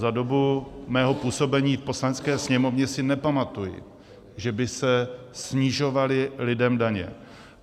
Za dobu mého působení v Poslanecké sněmovně si nepamatuji, že by se snižovaly lidem daně.